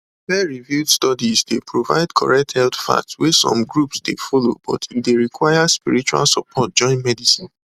peerreviewed studies dey provide correct health facts wey some groups dey follow but e dey require spiritual support join medicine